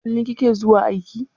Kullum kike zuwa aiki?